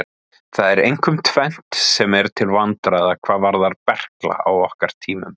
Það er einkum tvennt sem er til vandræða hvað varðar berkla á okkar tímum.